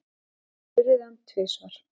Veiddi urriðann tvisvar